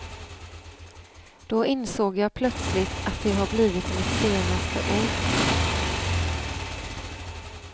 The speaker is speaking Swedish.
Då insåg jag plötsligt att det har blivit mitt senaste ord.